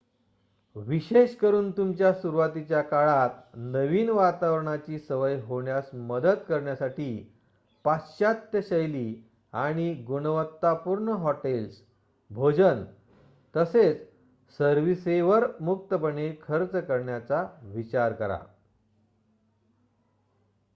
विशेषेकरून तुमच्या सुरुवातीच्या काळात नवीन वातावरणाची सवय होण्यास मदत करण्यासाठी पाश्चात्य-शैली आणि-गुणवत्तापूर्ण हॉटेल्स भोजन तसेच सर्विसेसवर मुक्तपणे खर्च करण्याचा विचार करा